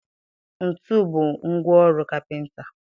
Ntu bụ ngwa ọrụ kapịnta.